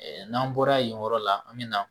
n'an bɔra yen yɔrɔ la an bɛ na